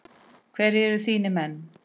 Hverjir eru þínir menn?